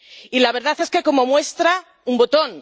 Y la verdad es que como muestra un botón.